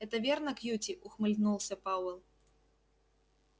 это верно кьюти ухмыльнулся пауэлл